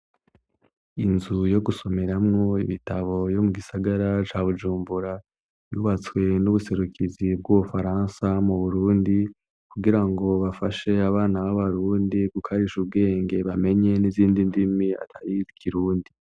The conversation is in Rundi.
Inzu yo gusomeramwo ibitabo yo mu gisagara ca Bujumbura yubatswe n'ubuserukizi bw'Ubufaransa mu Burundi kugira ngo bafashe abana b'abarundi gukarisha ubwenge, bamenye n'izindi ndimi atari kirundi.